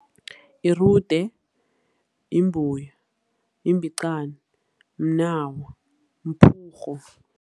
Irude, yimbuya, yimbicani, mnawa, mphurhu.